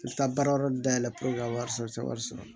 I bɛ taa baara wɛrɛ dayɛlɛ purke ka wari sɔrɔ i tɛ wari sɔrɔ